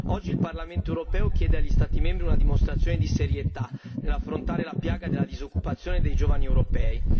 Oggi il Parlamento europeo chiede agli Stati membri una dimostrazione di serietà nell'affrontare la piaga della disoccupazione dei giovani europei.